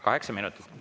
Kaheksa minutit.